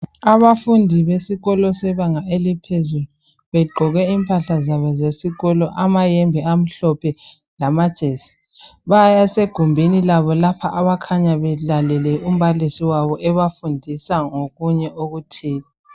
Abafundi besikolo sebanga eliphezulu begqoke impahla zabo zesikolo amayembe amhlophe lamajesi ,basegumbini labo lapho abakhanya belalele umbalisi wabo ebafundisa ngokunye okuthile